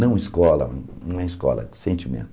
Não escola, não é escola, é sentimento.